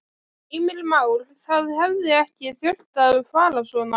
Heimir Már: Það hefði ekki þurft að fara svona?